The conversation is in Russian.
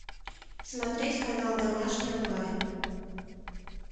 смотреть канал домашний онлайн